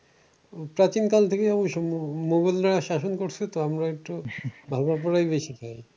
প্রাচীন কাল থেকে অবশ্য মুঘলরা শাসন করছে তো আমরা একটু ভালো করেই বেশি খাই।